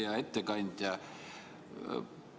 Hea ettekandja!